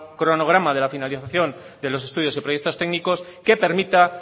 cronograma de la finalización de los estudios y proyectos técnicos que permita